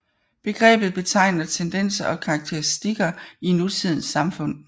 Begrebet betegner tendenser og karakteristikker i nutidens samfund